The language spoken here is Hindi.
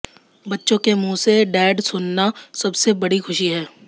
बच्चों के मुंह से डैड सुनना सबसे बड़ी खुशी है